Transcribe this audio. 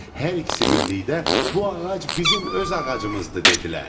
Hər ikisi birlikdə “Bu ağac bizim öz ağacımızdır” dedilər.